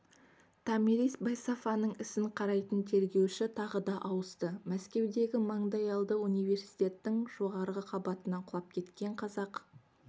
томирис байсафаның ісін қарайтын тергеуші тағы да ауысты мәскеудегі маңдайалды университеттің жоғарғы қабатынан құлап кеткен қазақ